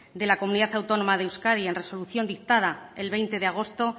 de la comunidad autónoma de euskadi en resolución dictada el veinte de agosto